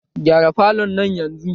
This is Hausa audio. Gyara falon nan yanzun!